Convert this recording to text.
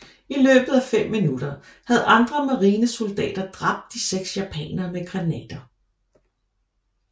I løbet af fem minutter havde andre marinesoldater dræbt de 6 japanere med granater